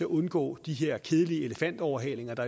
undgå de her kedelige elefantoverhalinger